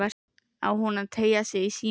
Á hún að teygja sig í símann?